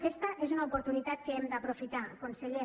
aquesta és una oportunitat que hem d’aprofitar conseller